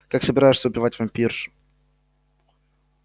как собираешься убить вампирш